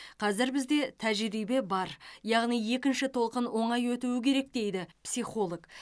қазір бізде тәжірибе бар яғни екінші толқын оңай өтуі керек дейді психолог